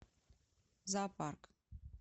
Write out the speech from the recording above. зоопарк